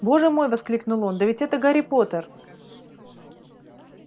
боже мой воскликнул он да ведь это гарри поттер